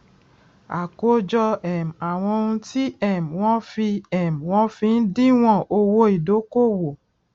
àkójọ um àwọn ohun tí um wọn fi um wọn fi ń díwòn owó ìdókòwò